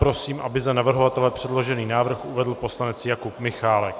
Prosím, aby za navrhovatele předložený návrh uvedl poslanec Jakub Michálek.